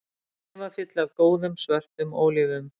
Hnefafylli af góðum, svörtum ólífum